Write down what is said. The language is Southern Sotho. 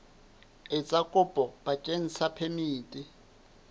etsa kopo bakeng sa phemiti